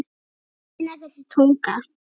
Skrítin er þessi tunga.